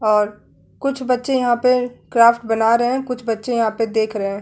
और कुछ बच्चे यहाँ पे क्राफ्ट बना रहे हैं। कुछ बच्चे यहाँ पे देख रहे हैं।